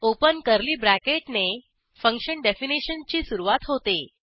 open curly ब्रॅकेटने function definition ची सुरूवात होते